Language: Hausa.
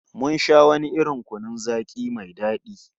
Mun sha wani irin kunun zaki mai dadi